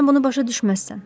Sən bunu başa düşməzsən.